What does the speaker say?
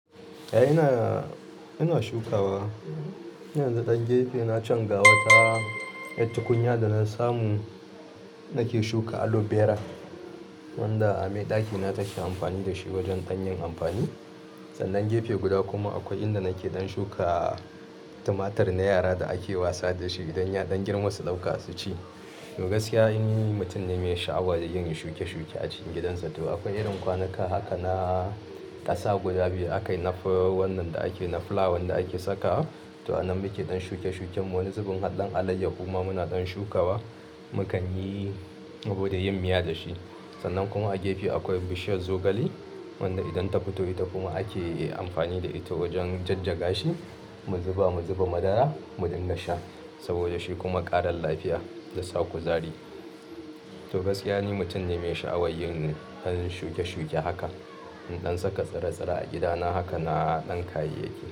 A'a, ina ina shukawa. Yanzu dan gefe na can ga wata tukunya da na samu nake shuka aloe vera wanda ami ɗaki na take amfani da shi wajen hanyar amfani. Sannan gefe guda kuma akwai inda nake dan shuka tumatur na yara da ake wasa da shi idan ya ɗan girma su ɗauka su ci. To gaskiya ni mutum ne mai sha'awa da yin shuke shuke a cikin gidansa. To akwai irin kwanuka haka na ƙasa guda biyu aka yi na fula wannan da aka yi na fulawan da ake sakawa. To a nan muke don shuke shuken wani zubin haɗɗen alayyahu kuma muna dan shukawa. Mukan yi saboda yin miya da shi. Sannan kuma a gefe akwai bishiyar zogale wanda idan ta fito ita kuma ake amfani da ita wajen jajjaga shi, mu zuba mu zuba madara mu dinga sha saboda shi kuma ƙarin lafiya da sa kuzari. To gaskiya ni mutum ne mai sha'awar yin ɗan shuke shuke haka, in ɗan saka tsire-tsire a gidana haka na ɗan kayayyaki.